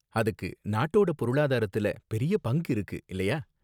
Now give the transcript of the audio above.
அதுக்கு நாட்டோட பொருளாதாரத்துல பெரிய பங்கு இருக்கு, இல்லயா?